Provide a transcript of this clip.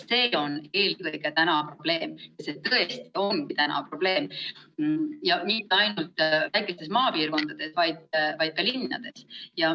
See on eelkõige probleem, ja mitte ainult väikestes maapiirkondades, vaid ka linnades.